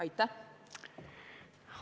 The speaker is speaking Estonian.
Aitäh!